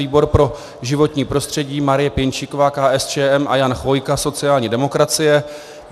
Výbor pro životní prostředí Marie Pěnčíková, KSČM, a Jan Chvojka, sociální demokracie.